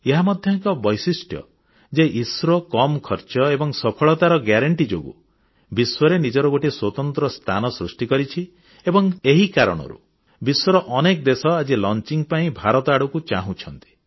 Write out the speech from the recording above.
ଏହା ମଧ୍ୟ ଏକ ବୈଶିଷ୍ଟ୍ୟ ଯେ ଇସ୍ରୋ କମ ଖର୍ଚ୍ଚରେ ଏବଂ ସଫଳତାର ଗ୍ୟାରେଣ୍ଟି ଯୋଗୁଁ ବିଶ୍ୱରେ ନିଜର ଗୋଟିଏ ସ୍ୱତନ୍ତ୍ର ସ୍ଥାନ ସୃଷ୍ଟି କରିଛି ଏବଂ ଏହି କାରଣରୁ ବିଶ୍ୱର ଅନେକ ଦେଶ ଆଜି ଉତକ୍ଷେପଣ ପାଇଁ ଭାରତ ଆଡ଼କୁ ଚାହୁଁଛନ୍ତି